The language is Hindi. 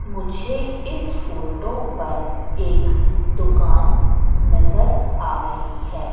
मुझे इस फोटो पर एक दुकान नजर आ रही है।